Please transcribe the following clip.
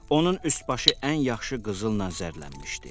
Onun üst-başı ən yaxşı qızılla zərlənmişdi.